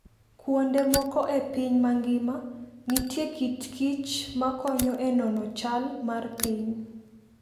Kuonde moko e piny mangima, nitie kit kichma konyo e nono chal mar piny.